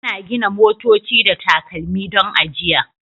Ana gina motoci da takalmi don ajiya